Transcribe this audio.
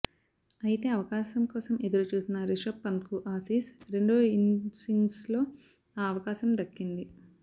అయతే అవకాశం కోసం ఎదురుచూసిన రిషభ్ పంత్కు ఆసీస్ రెండో ఇన్నింగ్స్లో ఆ అవకాశం దక్కింది